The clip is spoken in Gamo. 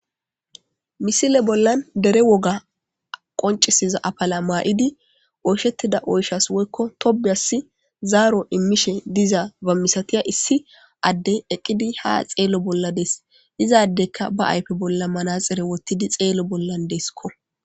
Missile bollan Deere woga qoncisiza apala mayidi oysheida oyshasi woyko tobiyasi zaaro imishe dizaba misatiza issi addey eqidi ha xeelo bolla dees izadeyka ba ayfe bollan manaxire wothidi xeelo bollan deesiko.